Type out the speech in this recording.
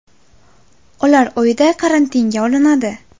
Ular uyda karantinga olinadi.